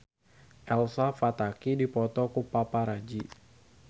Elsa Pataky dipoto ku paparazi